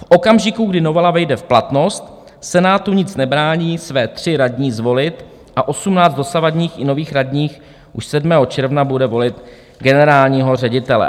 V okamžiku, kdy novela vejde v platnost, Senátu nic nebrání své 3 radní zvolit a 18 dosavadních i nových radních už 7. června bude volit generálního ředitele.